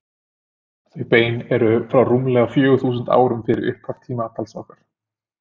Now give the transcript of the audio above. Þau bein eru frá rúmlega fjögur þúsund árum fyrir upphaf tímatals okkar.